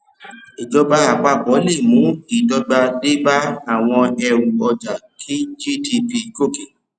ìjọba àpapọ le mú ìdọgba dé bá àwọn ẹrù ọjà kí gdp gòkè